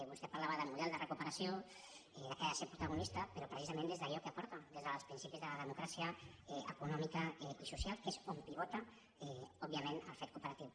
vostè parlava de model de recuperació i que ha de ser protagonista però precisament des d’allò que aporta des dels principis de la democràcia econòmica i social que és on pivota òbviament el fet cooperatiu